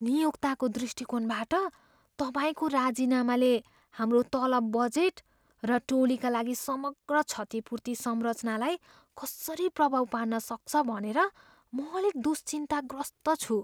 नियोक्ताको दृष्टिकोणबाट, तपाईँको राजिनामाले हाम्रो तलब बजेट र टोलीका लागि समग्र क्षतिपूर्ति संरचनालाई कसरी प्रभाव पार्न सक्छ भनेर म अलिक दुश्चिन्ताग्रस्त छु।